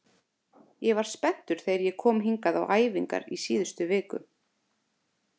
Ég var spenntur þegar ég kom hingað á æfingar í síðustu viku.